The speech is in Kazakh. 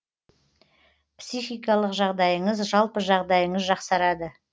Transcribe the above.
психикалық жағдайыңыз жалпы жағдайыңыз жақсарады